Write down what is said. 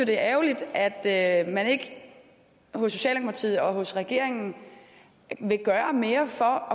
det er ærgerligt at at man ikke hos socialdemokratiet og hos regeringen vil gøre mere for